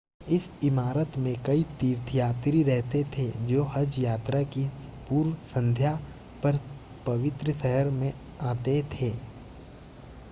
इस इमारत में कई तीर्थयात्री रहते थे जो हज यात्रा की पूर्व संध्या पर पवित्र शहर में आते थे